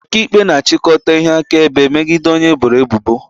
Ọkaikpe na-achịkọta ihe akaebe megide onye eboro ebubo